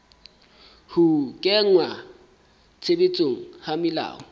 ho kenngwa tshebetsong ha melao